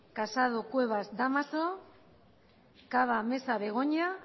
casado cuevas dámaso cava mesa begoña